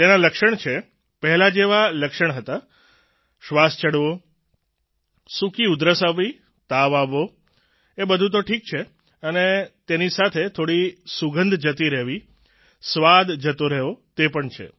તેના લક્ષણ છે પહેલાં જેવા લક્ષણ હતા શ્વાસ ચઢવો સૂકી ઉધરસ આવવી તાવ આવવો એ બધું તો ઠીક છે અને તેની સાથે થોડી સુગંધ જતી રહેવી સ્વાદ જતો રહેવો તે પણ છે